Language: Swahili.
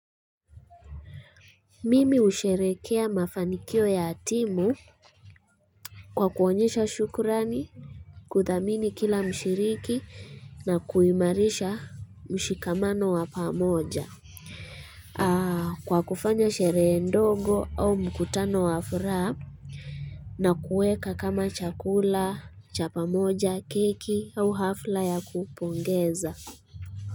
Mimi husherehekea mafanikio ya timu Kwa kuonyesha shukrani kudhamini kila mshiriki na kuimarisha mshikamano wa pamoja Kwa kufanya sherehe ndogo au mkutano wa furaha na kueka kama chakula, cha pamoja, keki au hafla ya kupongeza.